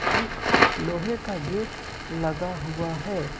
एक लोहे का गेट लगा हुआ है।